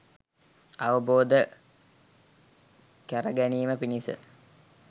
අවබෝධ කැර ගැනීම පිණිස